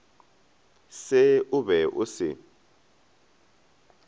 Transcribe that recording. se o be o se